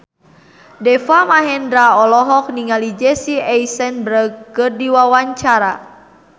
Deva Mahendra olohok ningali Jesse Eisenberg keur diwawancara